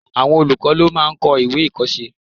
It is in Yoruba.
Àwọn olùkọ́ ló máà ń kọ́ ìwé-ìkọ̀ọ́sẹ́